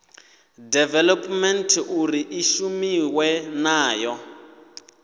development uri i shumiwe nayo